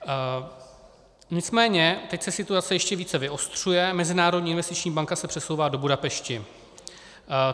Nicméně teď se situace ještě více vyostřuje, Mezinárodní investiční banka se přesouvá do Budapešti.